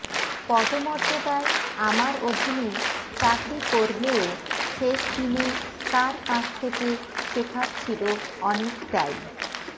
পদমর্যাদায় আমার অধীনে চাকরি করলেও শেষদিনে তাঁর কাছ থেকে শেখার ছিল অনেকটাই